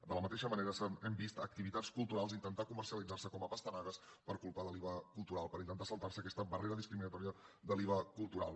de la mateixa manera hem vist activitats culturals intentar comercialitzar se com a pastanagues per culpa de l’iva cultural per intentar saltar se aquesta barrera discriminatòria de l’iva cultural